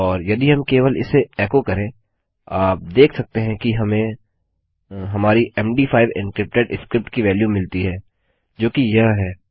और यदि हम केवल इसे एको करें आप देख सकते हैं कि हमें हमारी मद5 एन्क्रिप्टेड स्क्रिप्ट की वेल्यू मिलती है जोकि यह है